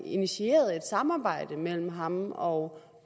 initieret et samarbejde mellem ham og